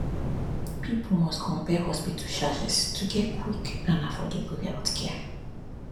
people must compare hospital charges to get quick and affordable healthcare